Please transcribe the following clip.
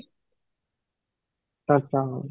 ହଁ